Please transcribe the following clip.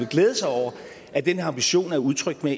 glæde sig over at den ambition er udtrykt med